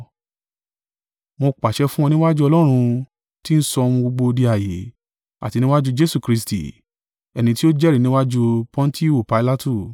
Mo pàṣẹ fún ọ níwájú Ọlọ́run, tí ń sọ ohun gbogbo di ààyè, àti níwájú Jesu Kristi, ẹni tí ó jẹ́rìí níwájú Pọntiu Pilatu,